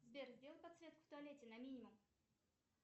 сбер сделай подсветку в туалете на минимум